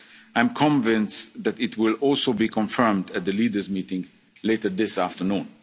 partner countries. I am convinced that it will also be confirmed at the leaders meeting later